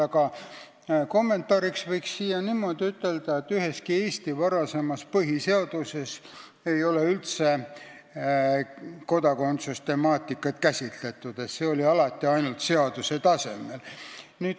Aga kommentaariks võin ütelda, et üheski Eesti varasemas põhiseaduses ei ole kodakondsuse temaatikat üldse käsitletud – see oli ainult seaduse tasemel.